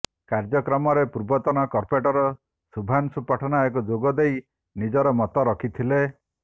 କାର୍ଯ୍ୟକ୍ରମରେ ପୂର୍ବତନ କର୍ପୋରେଟର ଶୁଭ୍ରାଂଶୁ ପଟ୍ଟନାୟକ ଯୋଗଦେଇ ନିଜର ମତ ରଖିଥିଲେ